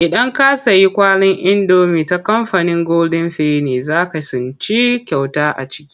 Idan ka sayi kwalin indomi ta kamfanin goldin feni za ka tsinci kyauta a ciki.